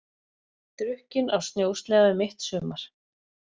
Drukkinn á snjósleða um mitt sumar